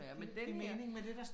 Ja, men den her